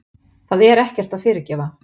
Það er ekkert að fyrirgefa.